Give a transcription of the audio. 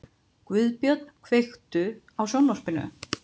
Guðbjörn, kveiktu á sjónvarpinu.